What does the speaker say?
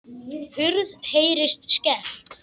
Hurð heyrist skellt.